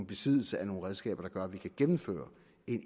besiddelse af nogle redskaber der gør at vi også kan gennemføre